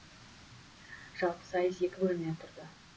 жалпы сайыс екі бөлімнен тұрды